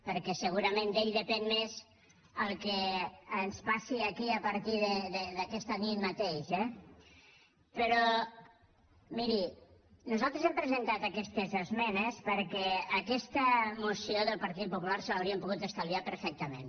perquè segurament d’ell depèn més el que ens passi aquí a partir d’aquesta nit mateix eh però miri nosaltres hem presentat aquestes esmenes perquè aquesta moció del partit popular se l’haurien pogut estalviar perfectament